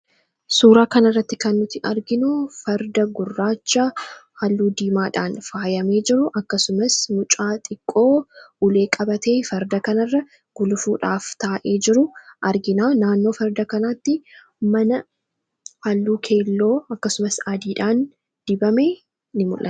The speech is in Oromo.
suuraa kana irratti kan nuti arginu farda gurraachaa halluu diimaadhaan faayamee jiru akkasumas mucaa xiqqoo ulee qabatee farda kana irra gulufuudhaaf taa'ee jiru argina . naannoo farda kanaatti mana halluu keelloo akkasumas adiidhaan dibame in mul'ata.